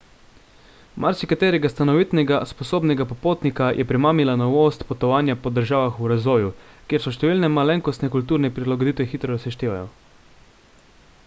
marsikaterega stanovitnega sposobnega popotnika je premamila novost potovanja po državah v razvoju kjer se številne malenkostne kulturne prilagoditve hitro seštevajo